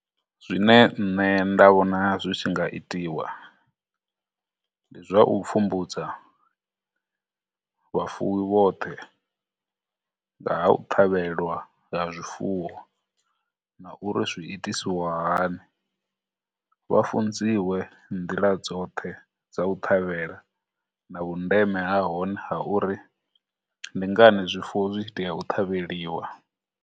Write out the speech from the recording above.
Zwine nṋe nda vhona zwi tshi nga itiwa, ndi zwa u pfhumbudza vhafuwi vhoṱhe ngaha u ṱhavhelwa nga zwifuwo, na uri zwiitisiwahani, vha funziwe nḓila dzoṱhe dza u ṱhavhela na vhundeme ha hone ha uri ndi ngani zwifuwo zwi tshi tea u ṱhavheliwa.